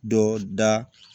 Dɔ da